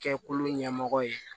Kɛkulu ɲɛmɔgɔ ye